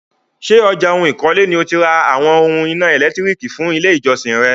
Ṣé ọjà ohun ikole ni o ti ra àwọn oún èlò iná ẹ̀lẹ́tírìkì fún ilé ìjọsìn re?